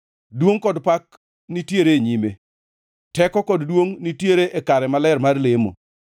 Duongʼ kod pak nitiere e nyime; teko kod duongʼ nitiere e kare maler mar lemo.